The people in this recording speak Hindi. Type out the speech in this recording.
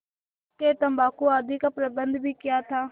हुक्केतम्बाकू आदि का प्रबन्ध भी किया था